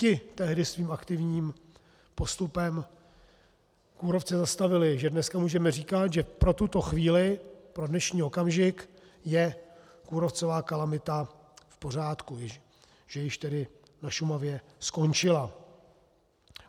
Ti tehdy svým aktivním postupem kůrovce zastavili, že dneska můžeme říkat, že pro tuto chvíli, pro dnešní okamžik je kůrovcová kalamita v pořádku, že již tedy na Šumavě skončila.